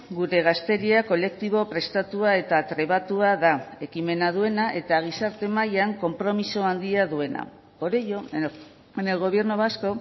gure gazteria kolektibo prestatua eta trebatua da ekimena duena eta gizarte mailan konpromiso handia duena por ello en el gobierno vasco